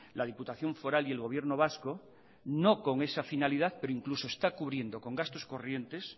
la diputación foral y el gobierno vasco no con esa finalidad pero incluso está cubriendo con gastos corrientes